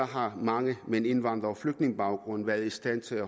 har mange med en indvandrer eller flygtningebaggrund været i stand til at